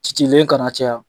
Cicilen kana caya.